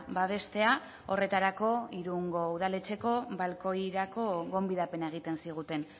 babestea horretarako irungo udaletxeko balkoirako gonbidapena egiten ziguten